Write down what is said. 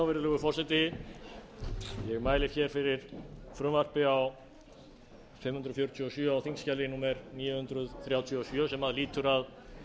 virðulegur forseti ég mæli fyrir frumvarpi númer fimm hundruð fjörutíu og sjö á þingskjali níu hundruð þrjátíu og sjö sem lýtur að